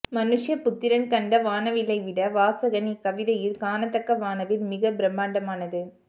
மனுஷ்யபுத்திரன் கண்ட வானவில்லை விட வாசகன் இக்கவிதையில் காணத்தக்க வானவில் மிகப்பிரம்மாண்டமானது